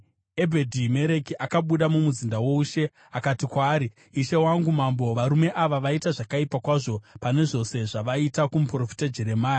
Ebhedhi-Mereki akabuda mumuzinda woushe akati kwaari, “Ishe wangu mambo, varume ava vaita zvakaipa kwazvo pane zvose zvavaita kumuprofita Jeremia.